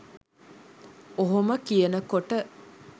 ඔහොම කියනකොට